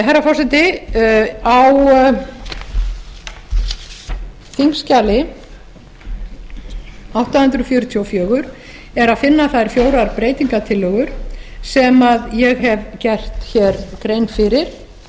herra forseti á þingskjali átta hundruð fjörutíu og fjögur er að finna þær fjórar breytingartillögur sem ég hef gert hér grein fyrir